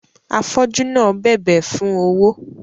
Afọju náà bẹbẹ fún owó